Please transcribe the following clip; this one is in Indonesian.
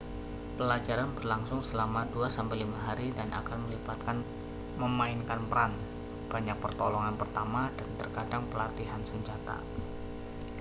pelajaran berlangsung selama 2-5 hari dan akan melibatkan memainkan peran banyak pertolongan pertama dan terkadang pelatihan senjata